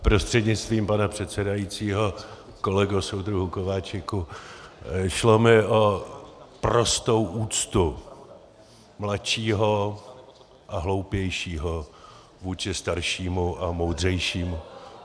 Prostřednictvím pana předsedajícího kolego soudruhu Kováčiku, šlo mi o prostou úctu mladšího a hloupějšího vůči staršímu a moudřejšímu.